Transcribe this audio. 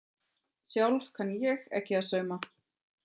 Sjálf kann ég ekki að sauma.